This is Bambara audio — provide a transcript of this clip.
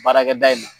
Baarakɛda in na